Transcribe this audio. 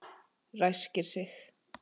Ræskir sig.